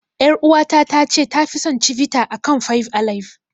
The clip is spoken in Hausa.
Yar uwata ta ce tafi son Cibita akan fab alaib.